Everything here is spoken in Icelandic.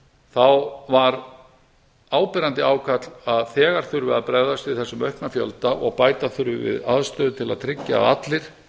þá var áberandi ákall að þegar þurfi að bregðast við þessum aukna fjölda og bæta þurfi við aðstöðu til að tryggja að allir